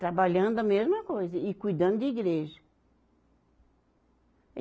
Trabalhando a mesma coisa e cuidando de igreja.